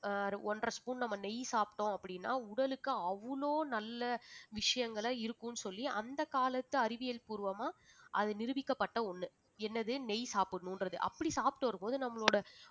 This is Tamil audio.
ஆஹ் ஒன்றரை spoon நம்ம நெய் சாப்பிட்டோம் அப்படின்னா உடலுக்கு அவ்வளவு நல்ல விஷயங்களை இருக்கும்னு சொல்லி அந்த காலத்து அறிவியல் பூர்வமா அது நிரூபிக்கப்பட்ட ஒண்ணு என்னது நெய் சாப்பிடணுன்றது அப்படி சாப்பிட்டு வரும்போது நம்மளோட